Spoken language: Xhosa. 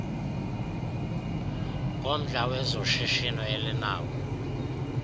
ngomdla wezoshishino elinawo